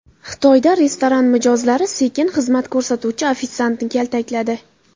Xitoyda restoran mijozlari sekin xizmat ko‘rsatuvchi ofitsiantni kaltakladi .